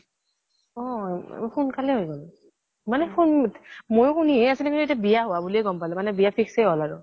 অহ উ সোন্কালে হৈ গল। মানে মই শুনিহে আছিলো। কিন্তু এতিয়া বিয়া হোৱা বুলিয়ে গম পালো, মানে বিয়া fix এ হল আৰু।